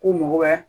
Ko mɔgɔya